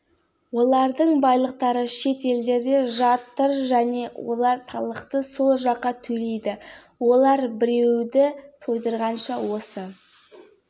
бөтен жердің гүлінен туған жердің тікені артық дейді қазақ сұлтан бейбарыс та солай ойласа керек оның